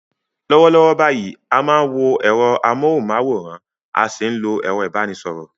Lọ́wọ́lọ́wọ́ báyìí, a máa ń wo ẹ̀rọ amóhùnmáwòrán a sì ń lo ẹ̀rọ ìbánisọ̀rọ̀